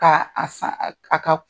Ka a san a ka